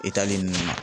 E taalen ninnu na